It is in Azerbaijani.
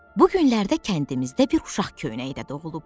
Bu günlərdə kəndimizdə bir uşaq köynəkdə doğulub.